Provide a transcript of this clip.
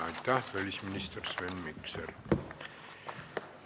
Aitäh, välisminister Sven Mikser!